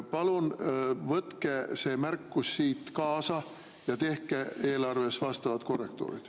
Palun võtke see märkus siit kaasa ja tehke eelarves vastavad korrektuurid.